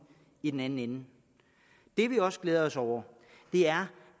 i den anden ende det vi også glæder os over er